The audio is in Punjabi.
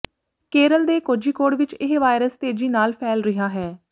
ਕੇਰਲ ਦੇ ਕੋਝੀਕੋਡ ਵਿੱਚ ਇਹ ਵਾਇਰਸ ਤੇਜੀ ਨਾਲ ਫੈਲ ਰਿਹਾ ਹੈ